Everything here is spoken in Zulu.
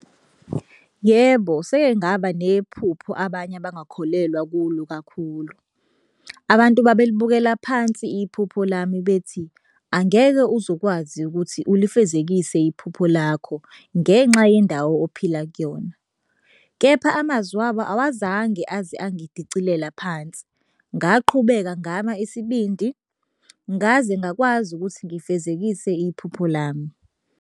Yebo, seke ngaba nephupho abanye abangakholelwa kulo kakhulu. Abantu babelibukela phansi iphupho lami bethi angeke uze ukwazi ukuthi ulifezekise iphupho lakho ngenxa yendawo ophila kuyona, kepha amazwi abo awazange aze angidicilela phansi. Ngaqhubeka ngama isibindi ngaze ngakwazi ukuthi ngifezekise iphupho lami.